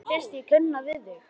Mér finnst ég kannast við þig!